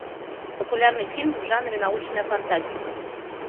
популярный фильм в жанре научная фантастика